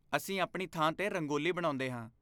ਅਸੀਂ ਆਪਣੀ ਥਾਂ 'ਤੇ ਰੰਗੋਲੀ ਬਣਾਉਂਦੇ ਹਾਂ।